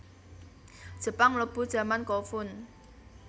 Jepang mlebu jaman Kofun